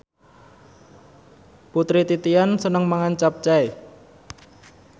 Putri Titian seneng mangan capcay